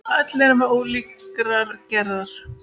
Öll erum við ólíkrar gerðar.